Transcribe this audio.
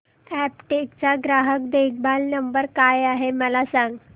Aptech चा ग्राहक देखभाल नंबर काय आहे मला सांग